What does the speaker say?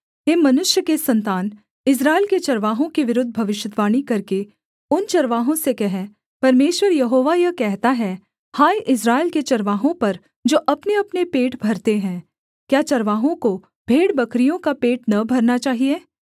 हे मनुष्य के सन्तान इस्राएल के चरवाहों के विरुद्ध भविष्यद्वाणी करके उन चरवाहों से कह परमेश्वर यहोवा यह कहता है हाय इस्राएल के चरवाहों पर जो अपनेअपने पेट भरते हैं क्या चरवाहों को भेड़बकरियों का पेट न भरना चाहिए